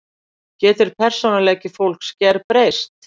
Getur persónuleiki fólks gerbreyst?